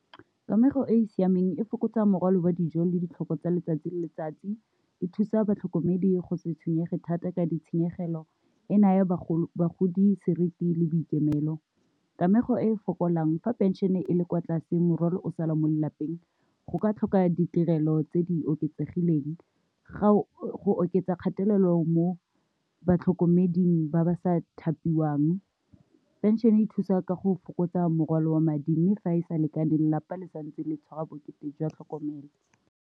Kamego e e siameng e fokotsa morwalo wa dijo le ditlhoko tsa letsatsi le letsatsi, e thusa batlhokomedi go se tshwenyege thata ka ditshenyegelo, e naya bagodi seriti le boikemelo, kamego e fokolang fa pension-e e le kwa tlase, morwalo o sala mo lelapeng go ka tlhoka ditirelo tse di oketsegileng ga o go oketsa kgatelelo mo batlhokomeding ba ba sa thapiwang, pension e thusa ka go fokotsa morwalo wa madi mme fa e sa lekaneng lelapa le santse le tshwara bokete jwa tlhokomelo.